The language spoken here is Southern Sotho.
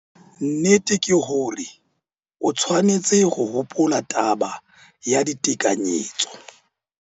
Nnete ke hore o tshwanetse ho hopola taba ya ditekanyetso.